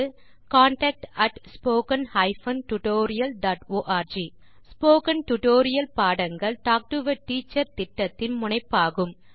contact at spoken hyphen tutorial dot org spoken tutorial பாடங்கள் talk to a teacher திட்டத்தின் முனைப்பாகும்